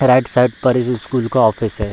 Right side पर इस school का ऑफिस है।